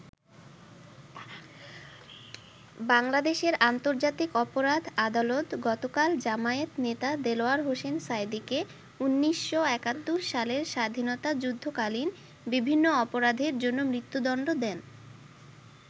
বাংলাদেশের আন্তর্জাতিক অপরাধ আদালত গতকাল জামায়াত নেতা দেলোয়ার হোসেন সাঈদীকে ১৯৭১ সালের স্বাধীনতাযুদ্ধকালীন বিভিন্ন অপরাধের জন্য মৃত্যুদন্ড দেন।